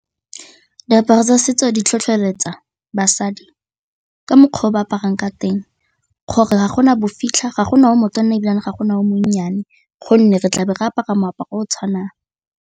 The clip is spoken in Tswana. Diaparo tsa setso di tlhotlheletsa basadi ka mokgwa o ba aparang ka teng gore ga gona bofitlha ga gona o motona ebile ga gona o monnyane gonne re tlabo re apara moaparo o o tshwanang.